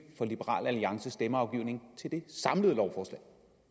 for liberal alliances stemmeafgivning til det samlede lovforslag